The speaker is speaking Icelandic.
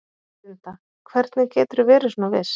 Linda: Hvernig geturðu verið svona viss?